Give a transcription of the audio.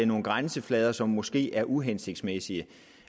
nogle grænseflader som måske er uhensigtsmæssige